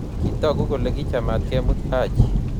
Kitooku kole kichamaat kemut Haji.